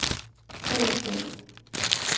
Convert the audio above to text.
fællesskab